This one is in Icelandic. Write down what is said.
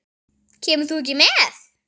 Kemur þú ekki með?